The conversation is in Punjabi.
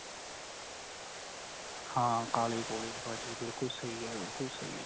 ਹਾਂ ਕਾਲੇ ਕੋਲੇ ਭਾਜੀ ਬਿਲਕੁਲ ਸਹੀ ਏ ਬਿਲਕੁਲ ਸਹੀ ਏ.